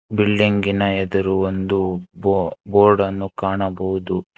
ಬಿಲ್ಡಿಂಗಿನ ಎದುರು ಒಂದು ಬೊ ಬೋರ್ಡನ್ನು ಕಾಣಬಹುದು.